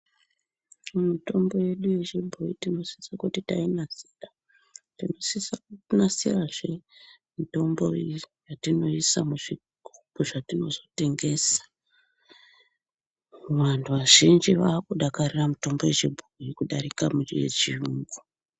Mitombo yedu yechibhoyi tinosise kuti tainasira, tinosisa kunasirazve mitombo yatinoisa mizvigubhu zvatinozotengesa. Vantu vazhinji vaakudakarira mitombo yechibhoyi kudarika yechiyungu.